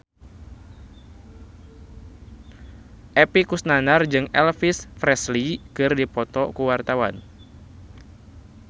Epy Kusnandar jeung Elvis Presley keur dipoto ku wartawan